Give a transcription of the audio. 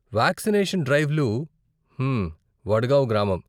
Vaccination డ్రైవ్లు, మ్మ్మ్, వడ్గావ్ గ్రామం.